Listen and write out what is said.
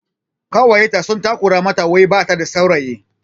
Ƙawayenta sun takura mata wai bata da saurayi